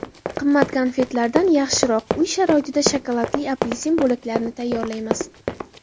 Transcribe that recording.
Qimmat konfetlardan yaxshiroq: Uy sharoitida shokoladli apelsin bo‘laklarini tayyorlaymiz.